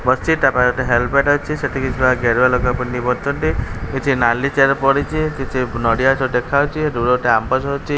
ବସିଛି ତା ପାଖରେ ଗୋଟେ ହେଲମେଟ ଅଛି ସେଠି କିଛି ଗେରୁଆ ଲୋକ ପିନ୍ଧିକି ବସିଛନ୍ତି କିଛି ନାଲି ଚେୟାର ପଡ଼ିଛି କିଛି ନଡ଼ିଆ ଗଛ ଦେଖାଯାଉଛି ଦୂରରେ ଗୋଟେ ଆମ୍ବଗଛ ଅଛି।